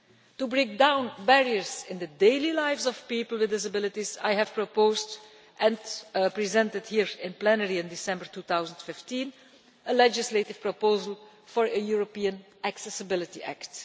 To break down barriers in the daily lives of people with disabilities I have put forward and presented here in plenary in December 2015 a legislative proposal for a European Accessibility Act.